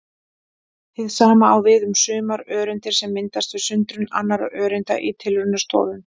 Hið sama á við um sumar öreindir sem myndast við sundrun annarra öreinda í tilraunastofum.